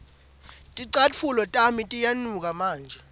ticatfulo tami setiyanuka manje